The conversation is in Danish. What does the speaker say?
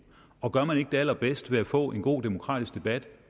og gør man det ikke allerbedst ved at få en god demokratisk debat